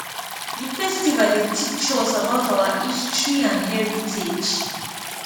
di festival dey teach us about our history and heritage